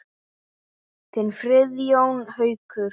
Þinn Friðjón Haukur.